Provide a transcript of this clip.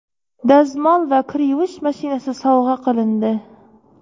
dazmol va kir yuvish mashinasi sovg‘a qilindi.